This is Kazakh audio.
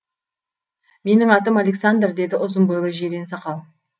менің атым александр деді ұзын бойлы жирен сақал